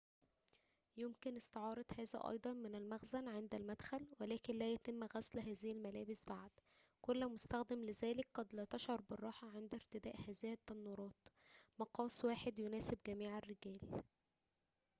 يُمكن استعارة هذا أيضاً من المخزن عند المدخل ولكن لا يتم غسل هذه الملابس بعد كل مستخدم لذلك قد لا تشعر بالراحة عند ارتداء هذه التنورات مقاسٌ واحدٌ يناسبُ جميعَ الرِّجَالِ